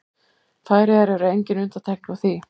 Færeyjar eru engin undantekning á því.